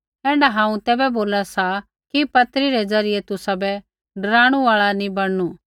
ऐण्ढा हांऊँ तैबै बोला सा कि पत्री रै दुआरा तुसाबै डराणु आल़ा नी बणनु